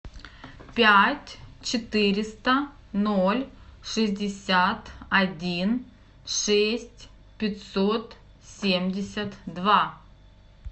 пять четыреста ноль шестьдесят один шесть пятьсот семьдесят два